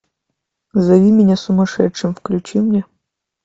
зови меня сумасшедшим включи мне